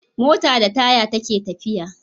Mota da taya take tafiya